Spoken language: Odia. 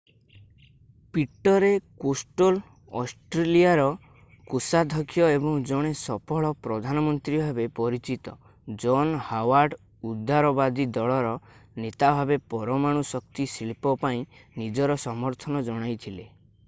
ପିଟରେ କୋଷ୍ଟେଲୋ ଅଷ୍ଟ୍ରଲିଆର କୋଷାଧକ୍ଷ ଏବଂ ଜଣେ ସଫଳ ପ୍ରଧାନ ମନ୍ତ୍ରୀ ଭାବେ ପରିଚିତ ଜନ୍ ହାୱାର୍ଡ ଉଦାରବାଦୀ ଦଳର ନେତା ଭାବେ ପରମାଣୁ ଶକ୍ତି ଶିଳ୍ପ ପାଇଁ ନିଜର ସମର୍ଥନ ଜଣାଇଥିଲେ